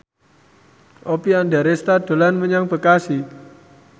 Oppie Andaresta dolan menyang Bekasi